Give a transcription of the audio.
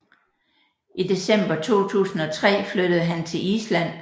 I december 2003 flyttede han til Island